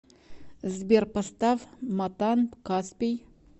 сбер поставь матан каспий